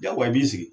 Jagoya i b'i sigi